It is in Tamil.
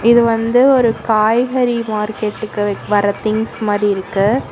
இது வந்து ஒரு காய்கறி மார்க்கெட்டுக்கு வர திங்ஸ் மாதிரி இருக்கு.